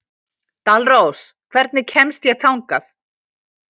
Dalrós, hvernig kemst ég þangað?